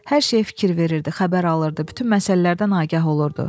Hər şeyə fikir verirdi, xəbər alırdı, bütün məsələlərdən agah olurdu.